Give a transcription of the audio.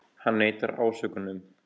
Hann neitar ásökunum